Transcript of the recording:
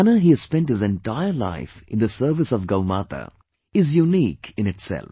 The manner he has spent his entire life in the service of Gaumata, is unique in itself